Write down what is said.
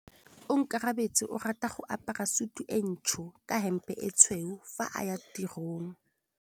Onkabetse o rata go apara sutu e ntsho ka hempe e tshweu fa a ya tirong.